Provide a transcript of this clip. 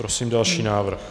Prosím další návrh.